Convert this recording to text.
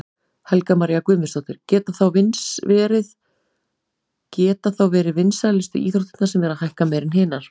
Helga María Guðmundsdóttir: Geta þá verið vinsælu íþróttirnar sem eru að hækka meira en hinar?